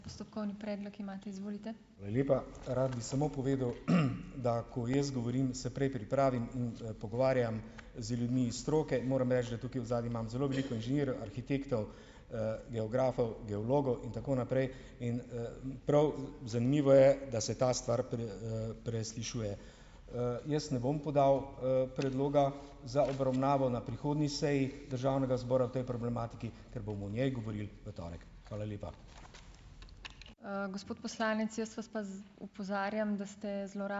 Hvala lepa. Rad bi samo povedal, da ko jaz govorim, se prej pripravim in, pogovarjam z ljudmi iz stroke. Moram reči, da tukaj odzadaj imam zelo veliko inženirjev, arhitektov, geografov, geologov in tako naprej. In, prav zanimivo je, da se ta stvar preslišuje. Jaz ne bom podal, predloga za obravnavo na prihodnji seji državnega zbora o tej problematiki, ker bomo o njej govorili v torek. Hvala lepa.